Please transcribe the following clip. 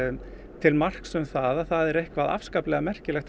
til marks um það að það er eitthvað afskaplega merkilegt